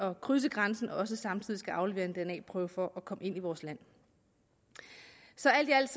at krydse grænsen også samtidig skal aflevere en dna prøve for at komme ind i vores land så alt i alt